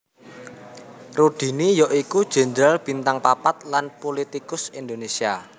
Rudini ya iku jenderal bintang papat lan pulitikus Indonésia